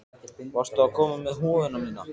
Varstu að koma með húfuna mína?